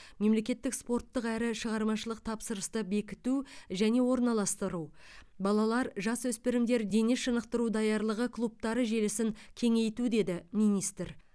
мемлекеттік спорттық әрі шығармашылық тапсырысты бекіту және орналастыру балалар жасөспірімдер дене шынықтыру даярлығы клубтары желісін кеңейту деді министр